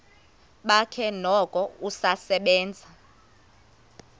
bakhe noko usasebenza